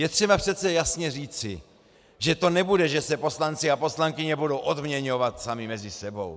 Je třeba přece jasně říci, že to nebude, že se poslanci a poslankyně budou odměňovat sami mezi sebou.